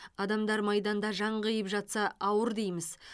адамдар майданда жан қиып жатса ауыр дейміз